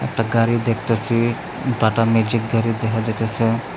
একটা গাড়ি দেখতাসি টাটা ম্যাজিক গাড়ি দেখা যাইতাসে।